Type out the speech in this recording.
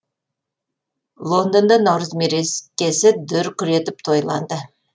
лондонда наурыз мерекесі дүркіретіп тойланды